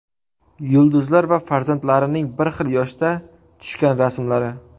Yulduzlar va farzandlarining bir xil yoshda tushgan rasmlari .